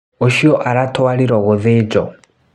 Ũcio aratwariro gũthĩnjo.